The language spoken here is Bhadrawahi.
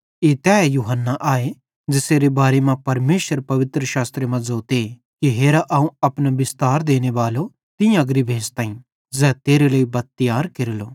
ई तैए यूहन्ना आए ज़ेसेरे बारे मां परमेशर पवित्रशास्त्रे मां ज़ोते कि हेरा अवं अपने बिस्तार देनेबालो तीं अग्री भेज़ताईं ज़ै तेरे लेइ बत्त तियार केरेलो